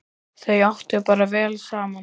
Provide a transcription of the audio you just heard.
Þau áttu bara vel saman!